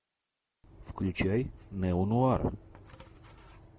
включай неонуар